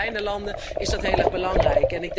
Zeker voor kleine landen is dat heel erg belangrijk.